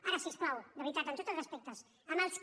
ara si us plau de veritat amb tots els respectes amb els que